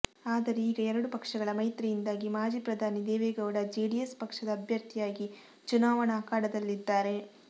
ಆದರೆ ಈಗ ಎರಡು ಪಕ್ಷಗಳ ಮೈತ್ರಿಯಿಂದಾಗಿ ಮಾಜಿ ಪ್ರಧಾನಿ ದೇವೆಗೌಡ ಜೆಡಿಎಸ್ ಪಕ್ಷದ ಅಭ್ಯರ್ಥಿಯಾಗಿ ಚುನಾವಣಾ ಅಖಾಡದಲ್ಲಿದ್ದಾರೆ